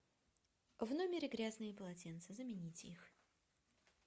в номере грязные полотенца замените их